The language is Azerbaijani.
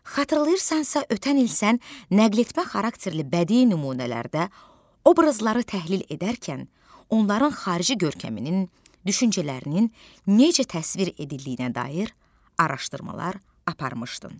Xatırlayırsansa, ötən il sən nəqlətmə xarakterli bədii nümunələrdə obrazları təhlil edərkən onların xarici görkəminin, düşüncələrinin necə təsvir edildiyinə dair araşdırmalar aparmışdın.